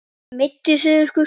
Meidduð þið ykkur?